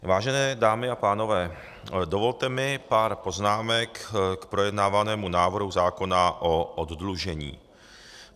Vážené dámy a pánové, dovolte mi pár poznámek k projednávanému návrhu zákona o oddlužení.